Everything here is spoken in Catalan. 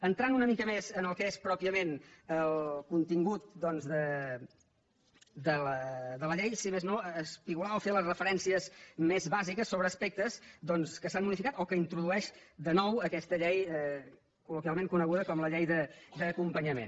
entrant una mica més en el que és pròpiament el contingut doncs de la llei si més no espigolar i fer les referències més bàsiques sobre aspectes doncs que s’han modificat o que introdueix de nou aquesta llei col·loquialment coneguda com la llei d’acompanyament